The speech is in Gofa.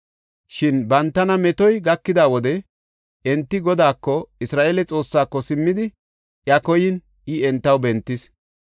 Shin bantana metoy gakida wode enti Godaako, Isra7eele Xoossaako simmidi iya koyin I entaw bentis.